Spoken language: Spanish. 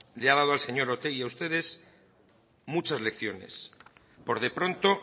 le ha dado al señor otegi y a ustedes muchas lecciones por de pronto